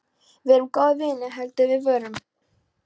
Við erum góðir vinir heldur við vorum.